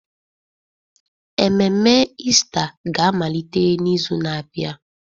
Ememe Ista ga-amalite n'izu na-abịa.